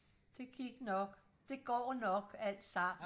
det gik nok det går nok alt sammen